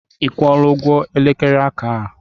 Ị kwụọla ụgwọ elekere aka aha?